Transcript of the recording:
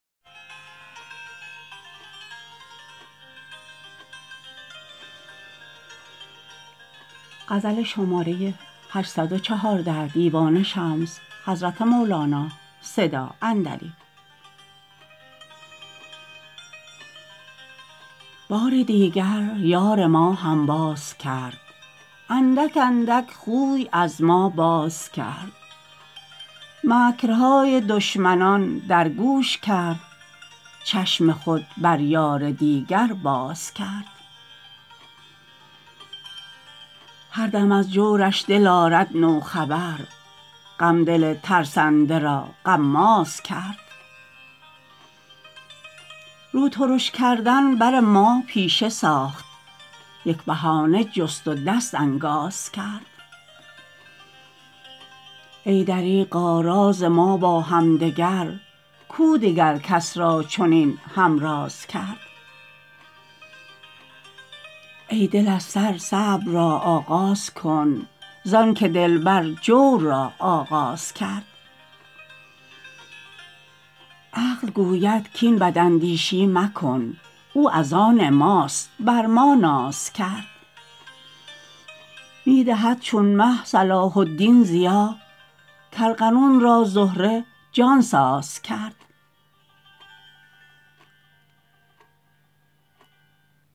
بار دیگر یار ما هنباز کرد اندک اندک خوی از ما باز کرد مکرهای دشمنان در گوش کرد چشم خود بر یار دیگر باز کرد هر دم از جورش دل آرد نو خبر غم دل ترسنده را غماز کرد رو ترش کردن بر ما پیشه ساخت یک بهانه جست و دست انکاز کرد ای دریغا راز ما با همدگر کو دگر کس را چنین هم راز کرد ای دل از سر صبر را آغاز کن زانک دلبر جور را آغاز کرد عقل گوید کاین بداندیشی مکن او از آن ماست بر ما ناز کرد می دهد چون مه صلاح الدین ضیا کارغنون را زهره جان ساز کرد